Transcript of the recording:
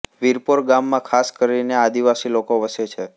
વિરપોર ગામમાં ખાસ કરીને આદિવાસી લોકો વસે છે